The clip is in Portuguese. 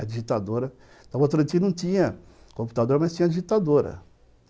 A digitadora... Na outra noite não tinha tinha computador, mas tinha digitadora.